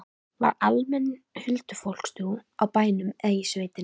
Var almenn huldufólkstrú á bænum eða í sveitinni?